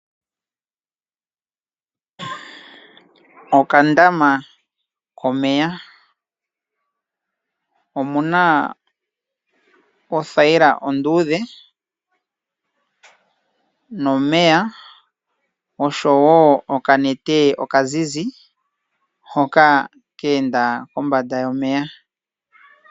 Okandama komeya omuna othayila onduudhe nomeya oshowo okanete okazizi hoka keenda kombanda yomeya.